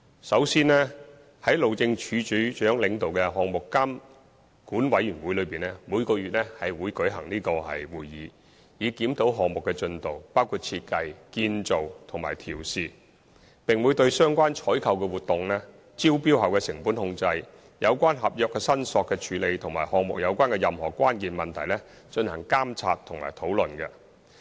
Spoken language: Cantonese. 首先，由路政署署長主持的項目監管委員會每月會舉行會議，以檢討項目的進度，包括設計、建造及試運行，並會對相關的採購活動、招標後的成本控制、有關合約申索的處理及與項目有關的關鍵問題，進行監察及討論。